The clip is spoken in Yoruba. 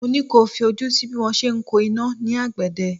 Mo ní kí o fi ojú sí bí wọ́n se ń ko iná ní àgbẹ̀dẹ